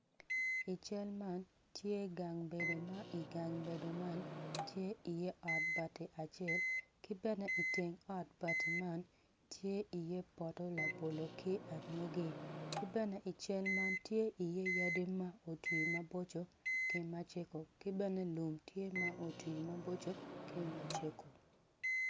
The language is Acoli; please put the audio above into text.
I cal man tye gang bedo ma i gang bedo man tye ot bati acel ki bene iteng ot bati man tye iye poto labolo ki anyogi ki bene i cal man tye iye yadi ma otwi maboco ki macego ki bene lum tye ma otwi maboco ki macego.